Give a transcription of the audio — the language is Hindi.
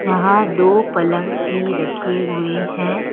यहां दो पलंग भी रखे हुए हैं।